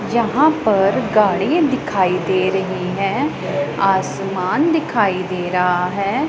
यहाँ पर गाड़ी दिखाई दे रहीं हैं आसमान दिखाई दे रहा हैं।